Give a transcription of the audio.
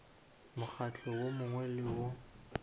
mokgatlo wo mongwe le wo